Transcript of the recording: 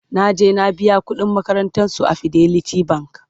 naje na biya ƙuɗin makarantan su a fidelity bank